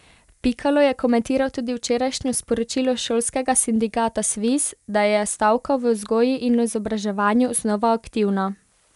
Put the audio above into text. Pikalo je komentiral tudi včerajšnjo sporočilo šolskega sindikata Sviz, da je stavka v vzgoji in izobraževanju znova aktivna.